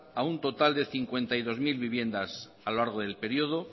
a un total de cincuenta y dos mil viviendas a lo largo del periodo